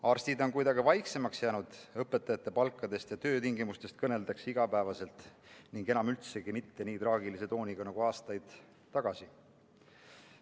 Arstid on kuidagi vaiksemaks jäänud, õpetajate palkadest ja töötingimustest kõneldakse iga päev ning enam üldsegi mitte nii traagilise tooniga nagu aastaid tagasi.